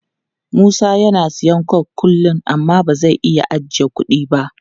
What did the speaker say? Musa yana siyan coke kullum amma ba zai iya ajiye kudi ba.